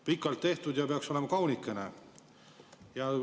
Pikalt tehtud ja peaks olema kaunikene.